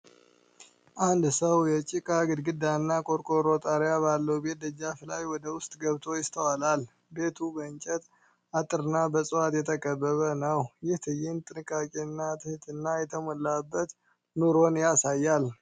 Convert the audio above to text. አንድ ሰው የጭቃ ግድግዳና ቆርቆሮ ጣሪያ ባለው ቤት ደጃፍ ላይ ወደ ውስጥ ገብቶ ይስተዋላል። ቤቱ በእንጨት አጥርና በዕፅዋት የተከበበ ነው። ይህ ትዕይንት ጥንቃቄንና ትህትና የተሞላበት ኑሮን ያሳያል።